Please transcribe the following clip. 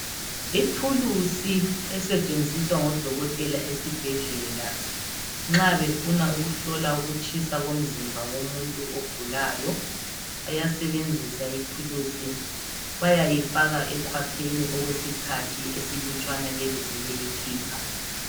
Ithulusi esetshenziswa ngodokotela esibhedlela nxa befuna ukuhlola ukutshisa komzimba womuntu ogulayo. Bayasebenzisa ithulusi bayayifaka ekhwapheni okwesikhathi esilutshwana besebeyikhipha.